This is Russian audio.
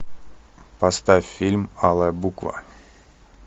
поставь фильм алая буква